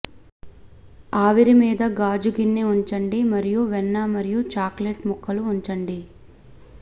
ఆవిరి మీద గాజు గిన్నె ఉంచండి మరియు వెన్న మరియు చాక్లెట్ ముక్కలు ఉంచండి